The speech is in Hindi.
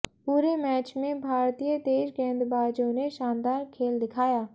पूरे मैच में भारतीय तेज गेंदबाजों ने शानदार खेल दिखाया